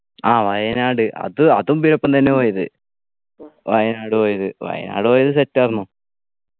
ആഹ് വയനാട് അത് അതും ഇവരൊപ്പം തന്നെ പോയത് വയനാട് പോയത് വയനാട് പോയത് set ആരുന്നു